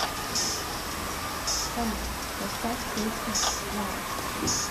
салют поставь песня ларг